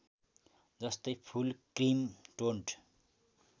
जस्तै full cream toned